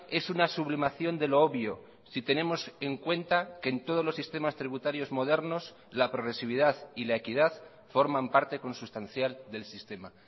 es una sublimación de lo obvio si tenemos en cuenta que en todos los sistemas tributarios modernos la progresividad y la equidad forman parte consustancial del sistema